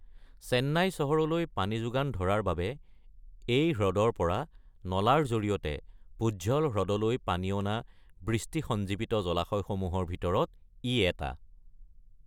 চেন্নাই চহৰলৈ পানী যোগান ধৰাৰ বাবে এই হ্ৰদৰ পৰা নলাৰ জৰিয়তে পুঝল হ্ৰদলৈ পানী অনা বৃষ্টি-সঞ্জীৱিত জলাশয়সমূহৰ ভিতৰত ই এটা।